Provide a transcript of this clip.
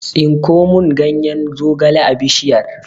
Tsinko mun ganyen zogale a bishiyar!